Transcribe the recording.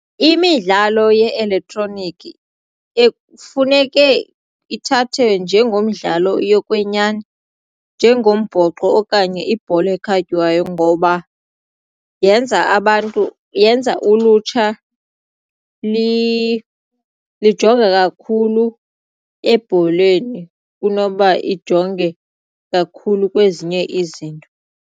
Imidlalo ye-elektroniki ekufuneke ithathwe njengomdlalo yokwenyani njengombhoxo okanye ibhola ekhatywayo ngoba yenza abantu yenza ulutsha lijonge kakhulu ebholeni kunoba ijonge kakhulu kwezinye izinto.